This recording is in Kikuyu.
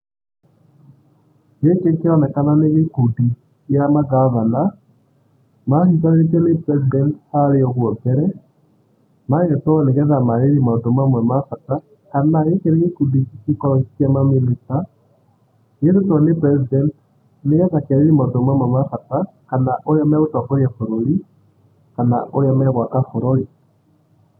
Gĩkĩ kĩronekana nĩgĩkundi kĩa magavana manyitithanĩtio nĩ President harĩa o mbere, magetwo nĩgeetha maarĩrie maũndũ mamwe mabata kana gĩkĩ nĩ gĩkundi hihi kĩa ma minister, gĩtĩtwo nĩ President nĩgetha kĩarĩrĩrie maũndũ mamwe mabata kana ũrĩa magũtongoria bũrũri kana ũrĩa magwaka bũrũri.